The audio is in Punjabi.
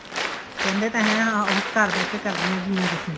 ਕਹਿੰਦੇ ਤਾਂ ਹੈ ਉਸ ਘਰ ਬੈਠ ਕੇ ਕਰਦੀਆਂ ਕੀ ਏ ਤੁਸੀਂ